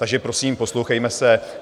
Takže, prosím, poslouchejme se.